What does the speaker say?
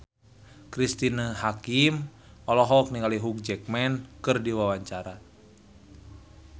Cristine Hakim olohok ningali Hugh Jackman keur diwawancara